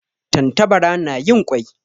Tantabara na yin kwai